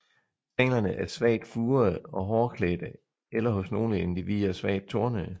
Stænglerne er svagt furede og hårklædte eller hos nogle individer svagt tornede